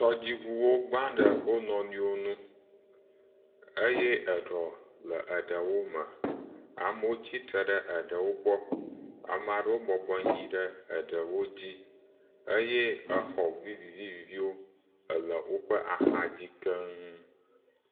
Tɔdziŋuwo gbã ɖe wonɔnɔewo wo ŋu eye eɖɔ le eɖewo me. Amewo tsi tre ɖe eɖewo gbɔ. Ameaɖewo bɔbɔnɔ anyi eɖewo dzi eye exɔ viviviwo ele woƒe axa dzi keŋ.